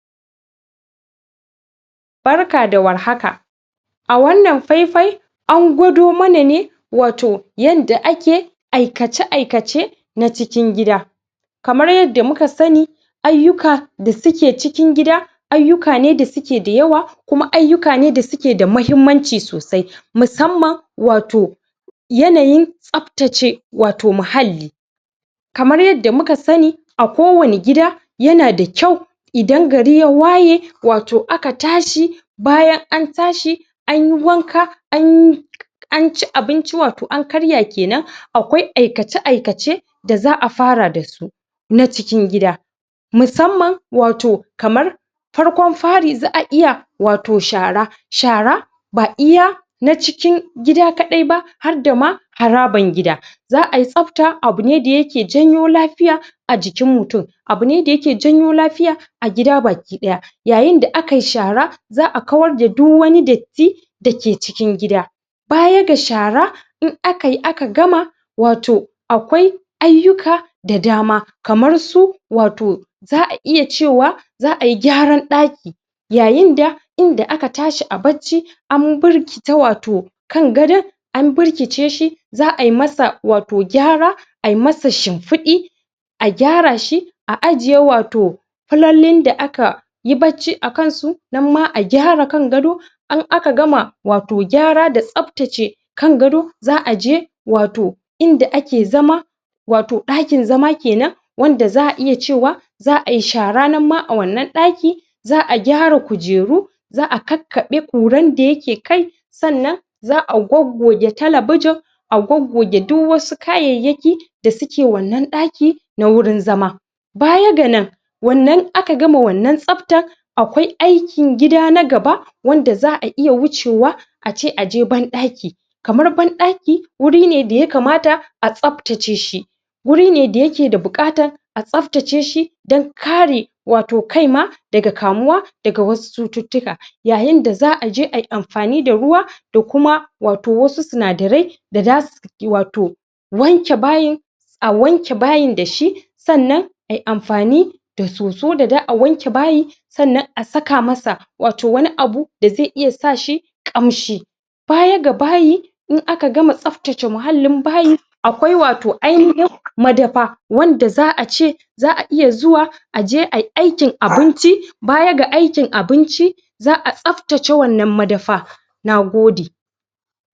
A wannan fai-fai, an gwado mana ne, wato yanda ake aikace-aikace, na cikin gida. Kamar yadda muka san, ayyuka da suke cikin gida, ayyuka ne da suke da yawa, kuma ayyuka ne da suke da muhimmanci sosai. Musamman wato yanayin tsaftace wato muhalli. Kamar yadda muka sani, a ko wani gida yana da kyau idan gari ya waye, wato aka tashi bayan an tashi anyi wanka, anyi anci abinci, wato an karya kenan, akwai aikace-aikace da za a fara dasu, na cikin gida. Musamman wato, kamar farkon fari za a iya wato shara, shara ba iya na cikin gida kaɗai ba, hadda ma haraban gida za ai, tsafta abu ne da yake janyo lafiya a jikin mutum, abu ne da yake janyo lafiya a gida baki ɗaya. Yayin da a kai shara, za a kawar da du wani datti na cikin gida. Baya ga shara, in akayi aka gama, wato akwai ayyuka da dama, kamar su wato, za a iya cewa za ai gyaran ɗaki. Yayin da inda aka tashi a bacci, an burkita wato kan gadon, an burkice shi, za ai masa wato gyara, ai masa shimfiɗi, a gyara shi, a ajiye wato fulallin da aka yi bacci a kan su, nan ma agyara kan gado, in aka gama gyara wato da tsaftace kan gado, za a je wato inda ake zama, wato ɗakin zama kenan, wanda za a iya cewa za ai shara nan ma a wannan ɗaki, za a gyara kujeru, za a kakkaɓe ƙuran da yake kai, sannan za a goggoge talabijin, a goggoge duk wasu kayayyaki da suke wannan ɗaki na wurin zama. Baya ga nan, aka gama wannan tsaftar, akwai aikin gida na gaba, wanda za a iya wucewa, a ce a je banɗaki. Kamar banɗaki, wuri ne da ya kamata a tsaftace shi, wuri ne da yake da buƙatar a tsaftace shi, don ka re wato kai ma, daga kamuwa daga wasu cututtuka. Yayin da za a je ai amfani da ruwa, da kuma wato wasu sinadarai da zasu wato wanke bayin, a wanke bayin da shi, sannan ai amfani da soso da da'a wanke bayin, sannan a saka masa wato wani abu da zai iya sa shi ƙamshi. Baya ga bayi, in aka gama tsaftace muhallin bayi, akwai wato ainihin madafa, wanda za a ce za a iya zuwa aje ai aikin abunci, baya ga aikin abinci, za a tsaftace wannna madafa. Nagode.